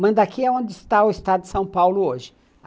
Mandaki é onde está o estado de São Paulo hoje.